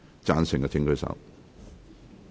贊成的請舉手。